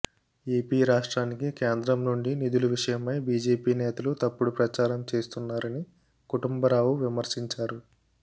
AP రాష్ట్రానికి కేంద్రం నుండి నిధుల విషయమై బిజెపి నేతలు తప్పుడు ప్రచారం చేస్తున్నారని కుటుంబరావు విమర్శించారు